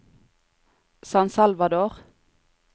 San Salvador